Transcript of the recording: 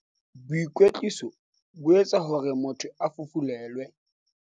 boikwetliso bo etsa hore motho a fufulelwe